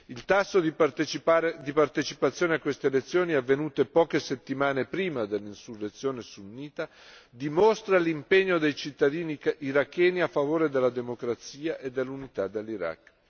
Il tasso di partecipazione a queste elezioni, avvenute poche settimane prima dell'insurrezione sunnita, dimostra l'impegno dei cittadini iracheni a favore della democrazia e dell'unità dell'Iraq.